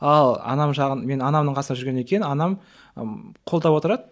ал анам жағын мен анамның қасында жүргеннен кейін анам ы қолдап отырады